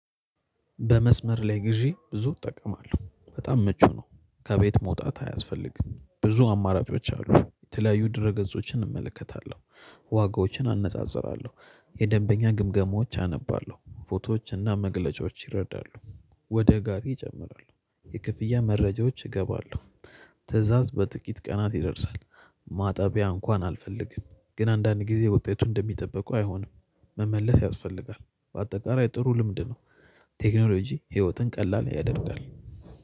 በመስመር ላይ ግዢ ብዙ እጠቀማለሁ በጣም ምቹ ነው። ከቤት መውጣት አያስፈልግም ብዙ አማራጮች አሉ የተለያዩ ድረ ገጾችን እመለከታለሁ። ዋጋዎችን አነጻጽራለሁ የደንበኛ ግምገማዎች አነባለሁ ፎቶዎችና መግለጫዎች ይረዳሉ። ወደ ጋሪ እጨምራለሁ የክፍያ መረጃዎች እገባለሁ ትእዛዝ በጥቂት ቀናት ይደርሳል። ማጣቢያ እንኳን አልፈልግም ግን አንዳንድ ጊዜ ወጤቱ እንደሚጠበቀው አይሆንም። መመለስ ያስፈልጋል በአጠቃላይ ጥሩ ልምድ ነው። ቴክኖሎጂ ህይወትን ቀላል ያደርጋል።